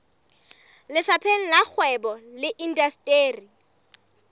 lefapheng la kgwebo le indasteri